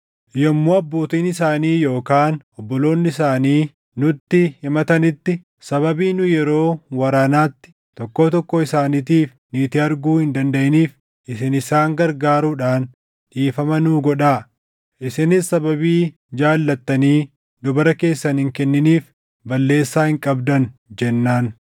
Yommuu abbootiin isaanii yookaan obboloonni isaanii nutti himatanitti, ‘Sababii nu yeroo waraanaatti tokkoo tokkoo isaaniitiif niitii arguu hin dandaʼiniif isin isaan gargaaruudhaan dhiifama nuu godhaa; isinis sababii jaallattanii dubara keessan hin kenniniif balleessaa hin qabdan’ jennaan.”